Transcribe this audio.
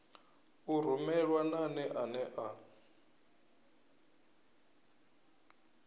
u rumelwa nane ane a